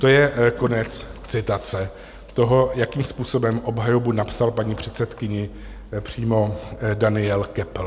To je konec citace toho, jakým způsobem obhajobu napsal paní předsedkyni přímo Daniel Köppl.